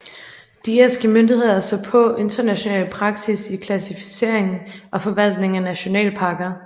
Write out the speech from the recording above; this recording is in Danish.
De irske myndigheder så på international praksis i klassificering og forvaltning af nationalparker